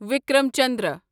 Vikram Chandra